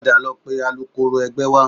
Padà lọ pe alukoro ẹgbẹ́ wá